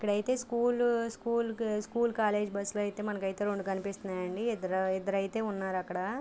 ఇక్కడైతే school school college bus లు అయితే మనకైతే రెండు కనిపిస్తున్నాయండి. ఇద్దరు ఇద్దరైతే ఉన్నారు అక్కడ.